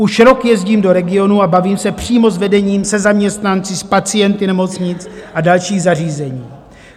Už rok jezdím do regionů a bavím se přímo s vedením, se zaměstnanci, s pacienty nemocnic a dalších zařízení.